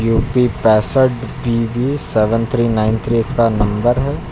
U P पैंसठ BB seven three nine three इस का नंबर है।